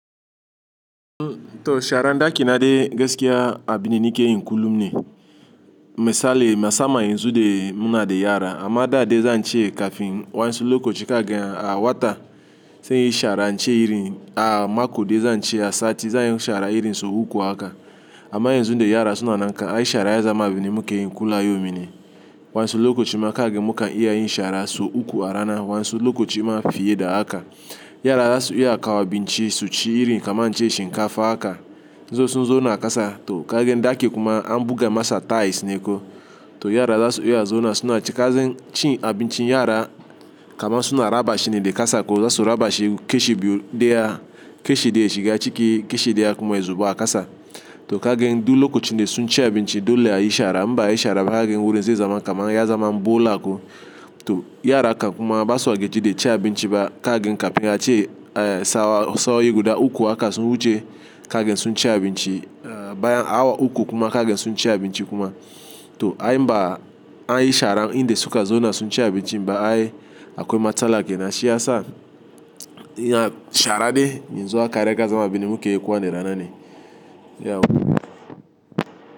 To sharan da ke naɗe gaskiya a binda nike yin kullum ne, misali musaman yanzu de muna da yara amma da dai zan ce kafin waansu loko ci ka gan a wata sai in yi shara an ce iri a mako dai zan ce a sati zanyi shara irin so uku haka. Amma yanzu de yara suna nan kan ai shara ya zama a binne muke yin kula yauminne waansu loka ci ma ka gan mukan iya yin shara so uku a rana waansu loka ci ma fiye da haka. Yara za su iya kawo abinci su ci iri kaman an ce shinkafa haka, indai sun zo na kasa to ka gan dakin kuma an buga masa tiles neko to yara za su iya zauna suna cika zan cin abincin yara kaman suna rabashi ne da kasa zasu raba shine kashi biyu daya kashi daya yashiga ciki kashi daya kuma ya zuba a kasa to ka gan du loka ci de sun ci abinci dole a yi shara, inba a yi shara ba za kagan wurin zai zama kaman ya zama bola ko to yara ka kuma ba su wa ke ji dai ci abinci ba ka gayan kafin a ce sawa saoi guda uku haka sun wuce kagan sunci abinci bayan awa uku zakaganni sunci abinci to ai inba a yi shara in da suka zauna sun ci abincinba ai akwai matsala ke na siyasa. Shara dai yanzu aka riga zama a binne muke yi kowa ne rana ne.